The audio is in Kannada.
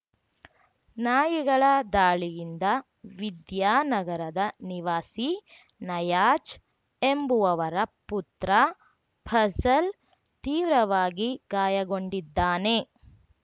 ನಾಯಿಗಳ ದಾಳಿಯಿಂದ ವಿದ್ಯಾನಗರದ ನಿವಾಸಿ ನಯಾಜ್‌ ಎಂಬುವವರ ಪುತ್ರ ಫಝಲ್‌ ತೀವ್ರವಾಗಿ ಗಾಯಗೊಂಡಿದ್ದಾನೆ